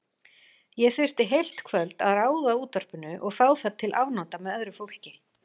Ég þyrfti heilt kvöld að ráða útvarpinu og fá það til afnota með öðru fólki.